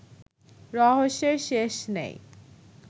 রহস্যের শেষ নেই